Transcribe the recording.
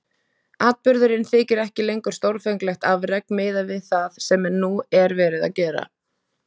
Atburðurinn þykir ekki lengur stórkostlegt afrek miðað við það sem nú er verið að gera.